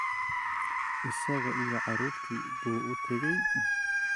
Isaga iyo carruurtii buu u tegey